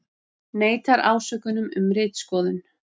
Neitar ásökunum um ritskoðun